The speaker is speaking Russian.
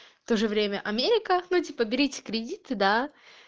тоже время америка ну типа берите кредиты да